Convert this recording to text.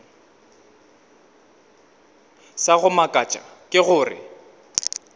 sa go makatša ke gore